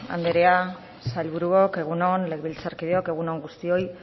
andrea sailburuok egun on legebiltzarkideok egun on guztioi